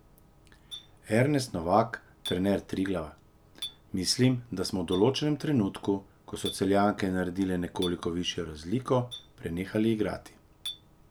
Ernest Novak, trener Triglava: "Mislim, da smo v določenem trenutku, ko so Celjanke naredilo nekoliko višjo razliko, prenehali igrati.